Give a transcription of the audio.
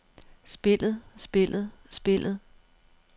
spillet spillet spillet